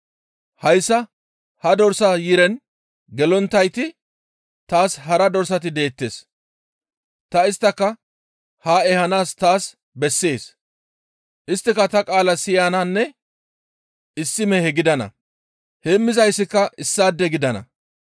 Hayssa ha dorsa yiren gelonttayti taas hara dorsati deettes; ta isttaka haa ehanaas taas bessees; isttika ta qaala siyananne issi mehe gidana. Heemmizayssika issaade gidana.